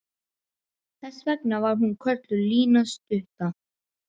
Þess vegna var hún kölluð Lína stutta.